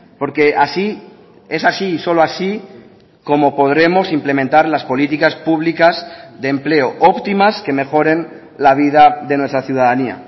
porque así es así y solo así como podremos implementar las políticas públicas de empleo óptimas que mejoren la vida de nuestra ciudadanía